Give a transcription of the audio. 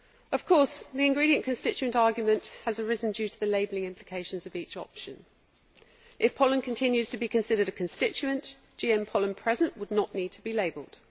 Of course, the ingredient constituent argument has arisen due to the labelling implications of each option. If pollen continues to be considered a constituent', any GM pollen present would not need to be labelled.